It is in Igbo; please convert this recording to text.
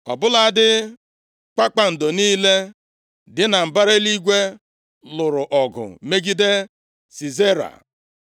Ọ bụladị kpakpando niile dị na mbara eluigwe lụrụ ọgụ megide Sisera.